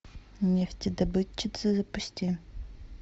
нефтедобытчицы запусти